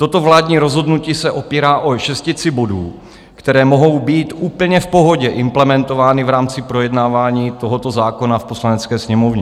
Toto vládní rozhodnutí se opírá o šestici bodů, které mohou být úplně v pohodě implementovány v rámci projednávání tohoto zákona v Poslanecké sněmovně.